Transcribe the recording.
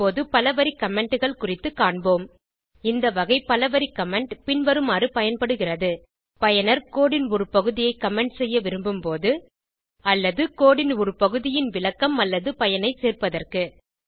இப்போது பல வரி commentகள் குறித்துக் காண்போம் இந்த வகை பல வரி கமெண்ட் பின்வருமாறு பயன்படுகிறது பயனர் codeன் ஒரு பகுதியை கமெண்ட் செய்ய விரும்பும் போது அல்லது கோடு ன் ஒரு பகுதியின் விளக்கம் அல்லது பயனை சேர்ப்பதற்கு